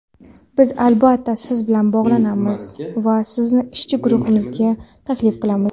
Biz albatta siz bilan bog‘lanamiz va sizni ishchi guruhimizga taklif qilamiz.